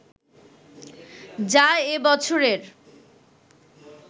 যা এ বছরের